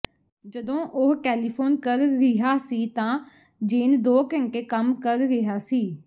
ਜਦੋਂ ਉਹ ਟੈਲੀਫ਼ੋਨ ਕਰ ਰਿਹਾ ਸੀ ਤਾਂ ਜੇਨ ਦੋ ਘੰਟੇ ਕੰਮ ਕਰ ਰਿਹਾ ਸੀ